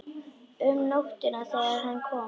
Um nóttina þegar hann kom.